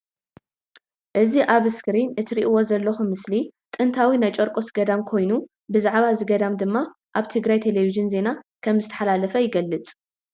እዚ ኣብ እስክሪን እትሪኢዎ ዘለኩም ምስሊ ጥንታዊ ናይ ጨርቆስ ገዳም ኮይኑ ብዛዕባ እዚ ገዳም ድማ ኣብ ትግራይ ቴሌቪጅን ዜና ከም ዝተመሓላለፈ ይገልፅ